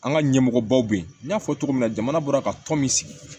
An ka ɲɛmɔgɔ baw bɛ yen n y'a fɔ cogo min na jamana bɔra ka tɔn min sigi